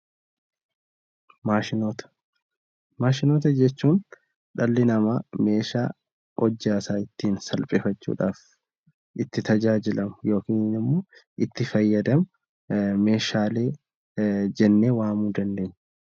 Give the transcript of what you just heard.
Maashinoota Maashinoota jechuun dhalli namaa meeshaa hojjaa isaa ittiin salphifachuu dhaaf itti tajaajilamu yookiin immoo itti fayyadamu meeshaalee jennee waamuu dandeenya.